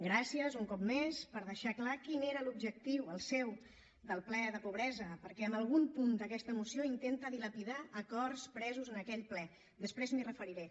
gràcies un cop més per deixar clar quin era l’objectiu el seu del ple de la pobresa perquè amb algun punt d’aquesta moció intenta dilapidar acords presos en aquell ple després m’hi referiré